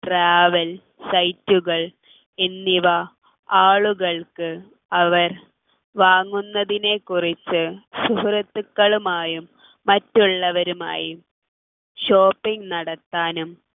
travel site കൾ എന്നിവ ആളുകൾക്ക് അവർ വാങ്ങുന്നതിനെക്കുറിച്ച് സുഹൃത്തുക്കളുമായും മറ്റുള്ളവരുമായും shopping നടത്താനും